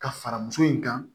Ka fara muso in kan